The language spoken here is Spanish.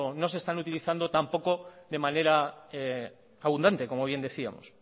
no se están utilizando tampoco de manera abundante como bien decíamos